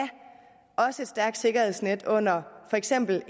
et stærkt sikkerhedsnet under for eksempel